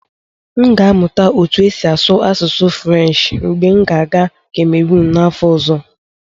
M ga-amụta otú e si asụ asụsụ Frenshi mgbe m ga-aga kamerun n'afọ ọzọ.